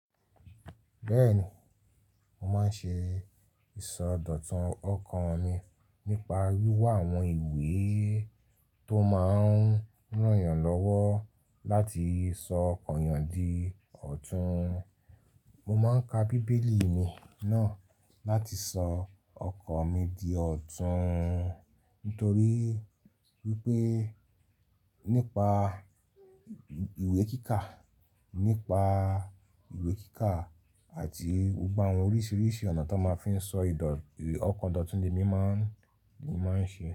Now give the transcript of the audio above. Bẹ́ẹ̀ni, mo máa ń ṣe ìsọdọ̀tun ọkàn mi nípa wíwá àwọn ìwé tó máa ń ràn yàn lọ́wọ́ láti sọ ọkàn yàn di ọ̀tún. Mo máa ń ka bíbélì mi náà láti sọ ọkàn mi di ọ̀tún. Nítorí wípé nípa ìwé kíkà, nípa ìwé kíkà àti gbogbo àwọn oríṣiríṣi ọ̀nà tó máa ń fi sọ ìdọ̀, ọkàn dòtún ni emí máa ń, ni mo máa ń ṣe.